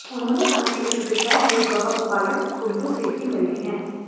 उन्होंने कहा कि इस विषय में वह उपायुक्त कुल्लू से भी मिले हैं